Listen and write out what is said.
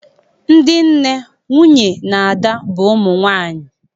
Ndị nne, nwunye na ada bụ ụmụ nwaanyị